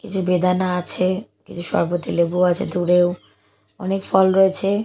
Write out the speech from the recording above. কিছু বেদানা আছে কিছু সরবতি লেবু আছে দূরেও অনেক ফল রয়েছে।